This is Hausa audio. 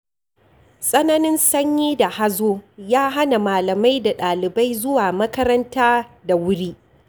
Tsananin sanyi da hazo ya hana malamai da ɗalibai zuwa makaranta da wuri.